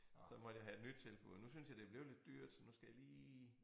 Så måtte jeg have et nyt tilbud nu synes jeg det blevet lidt dyrt så nu skal jeg lige